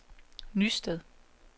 Nysted